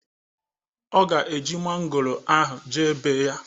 Ọ ga eji mangoro ahụ jee bee ya